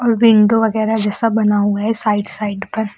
और विंडो वगैरा जैसा बना हुआ है साइड साइड पर।